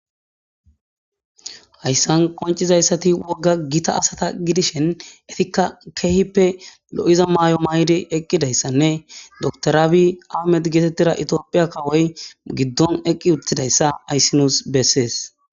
Haysan qoncizaysati woga Gita assata gidishn etika keehippe lo'iza mayo mayid eqidaysanne tophiya kawoy giddon eqid utidaysa hays nus beses.